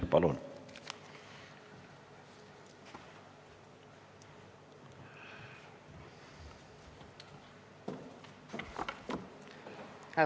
Palun!